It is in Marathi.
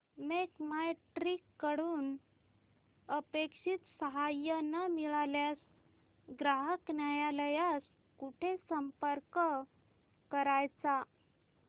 मेक माय ट्रीप कडून अपेक्षित सहाय्य न मिळाल्यास ग्राहक न्यायालयास कुठे संपर्क करायचा